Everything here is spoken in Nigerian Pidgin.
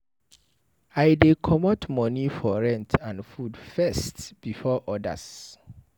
I dey comot moni for rent and food first before odas.